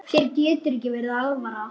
Þér getur ekki verið alvara.